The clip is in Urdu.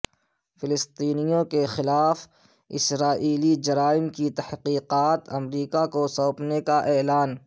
فلسطینیوں کے خلاف اسرائیلی جرائم کی تحقیقات امریکا کو سونپنے کا اعلان